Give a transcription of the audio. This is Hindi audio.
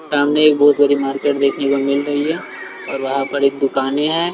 सामने एक बहोत बड़ी मार्केट देखने को मिल रही है और वहां पर एक दुकानें हैं।